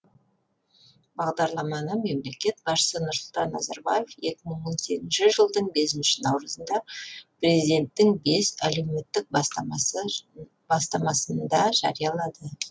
бағдарламаны мемлекет басшысы нұрсұлтан назарбаев екі мың он сегізінші жылдың бесінші наурызында президенттің бес әлеуметтік бастамасында жариялады